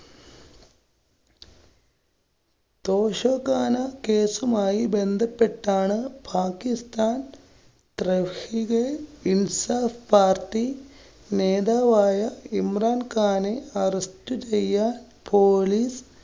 തോഷഖാന കേസുമായി ബന്ധപെട്ടാണ് പാകിസ്ഥാന്‍, ട്രെര്‍ഷികെ ഇൻസാഫ് party നേതാവായ ഇമ്രാം ഖാനെ arrest ചെയ്യാന്‍ police